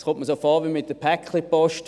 Es kommt mir so vor wie mit der Paketpost: